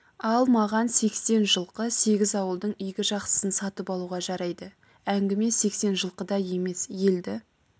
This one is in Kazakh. ал маған сексен жылқы сегіз ауылдың игі жақсысын сатып алуға жарайды әңгіме сексен жылқыда емес елді